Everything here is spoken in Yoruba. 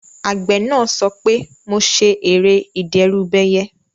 Àgbẹ̀ náà sọ pé "mo ṣe ère ìdẹ́rùbẹyẹ"